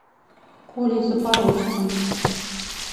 колей запорожцем